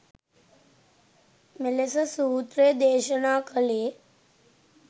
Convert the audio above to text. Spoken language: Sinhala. මෙලෙස සූත්‍රය දේශනා කළේ